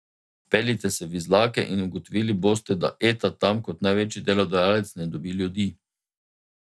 Peljite se v Izlake in ugotovili boste, da Eta tam kot največji delodajalec ne dobi ljudi.